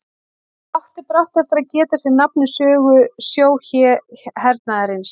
Það átti brátt eftir að geta sér nafn í sögu sjóhernaðarins.